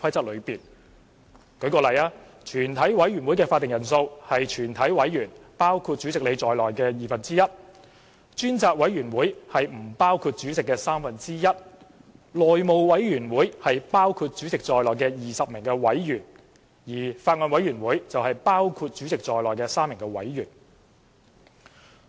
例如，全委會的會議法定人數是包括主席在內的全體議員的二分之一；專責委員會是委員人數的三分之一；內務委員會是包括主席在內的20名委員，而法案委員會則是包括主席在內的3名委員。